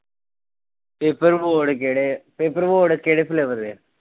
Paper board ਕਿਹੜੇ paper board ਕਿਹੜੇ flavour ਦੇ?